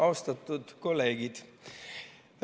Austatud kolleegid!